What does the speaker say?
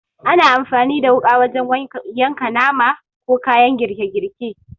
Ana amfani da wuƙa wajen yanka nama, ko kayan girke girke.